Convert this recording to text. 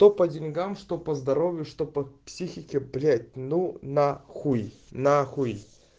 то по деньгам что по здоровью что по психике блять ну нахуй нахуй